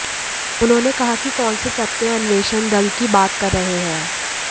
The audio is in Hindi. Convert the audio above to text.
उन्होंने कहा कि कौन से तथ्य अन्वेषण दल की बात कर रहे हैं